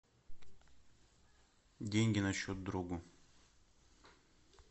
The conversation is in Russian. деньги на счет другу